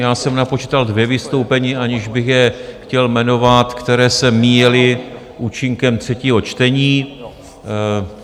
Já jsem napočítal dvě vystoupení, aniž bych je chtěl jmenovat, která se míjela účinkem třetího čtení.